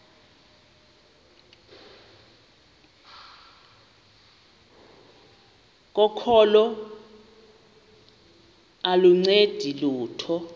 kokholo aluncedi lutho